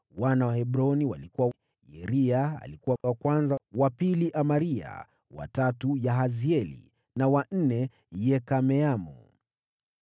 Wana wa Hebroni walikuwa: Yeria alikuwa wa kwanza, wa pili Amaria, wa tatu Yahazieli, na wa nne Yekameamu.